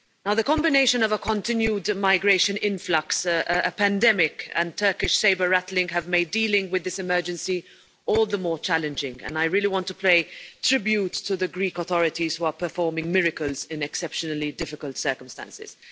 The combination of a continued migration influx, a pandemic, and Turkish sabre rattling have made dealing with this emergency all the more challenging, and I really want to pay tribute to the Greek authorities, who are performing miracles in exceptionally difficult circumstances.